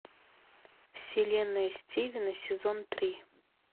вселенная стивена сезон три